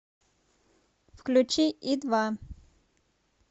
включи и два